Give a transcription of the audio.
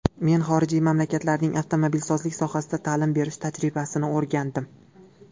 Men xorijiy mamlakatlarning avtomobilsozlik sohasida ta’lim berish tajribasini o‘rgandim.